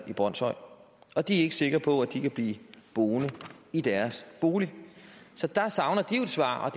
i brønshøj og de er ikke sikre på at de kan blive boende i deres bolig så der savner de jo et svar